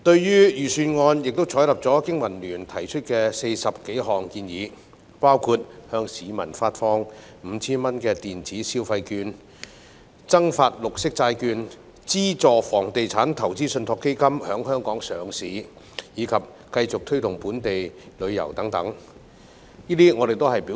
預算案採納了經民聯提出的40多項建議，包括向市民發放 5,000 元電子消費券、增發綠色債券、資助房地產投資信託基金在香港上市，以及繼續推動本地旅遊等。